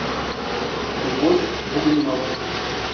любовь бугримова